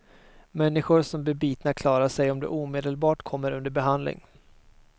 Människor som blir bitna klarar sig om de omedelbart kommer under behandling.